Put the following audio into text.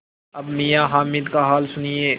अब मियाँ हामिद का हाल सुनिए